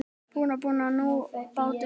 Bruna þú nú, bátur minn.